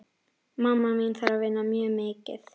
Mamma mín þarf að vinna mjög mikið.